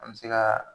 An bɛ se ka